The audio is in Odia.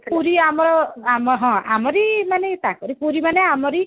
ପୁରୀ ଆମର ଆମର ହଁ ଆମରି ମାନେ ଏଇ ତାଙ୍କରି ପୁରୀ ମାନେ ଆମରି